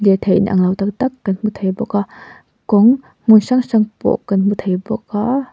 thei inang lo tak tak kan hmu thei bawk a kawng hmun hrang hrang te pawh kan hmu thei bawk a--